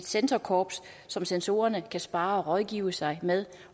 censorkorps som censorerne kan sparre og rådgive sig med